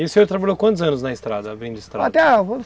E o senhor trabalhou quantos anos na estrada? Abrindo estrada,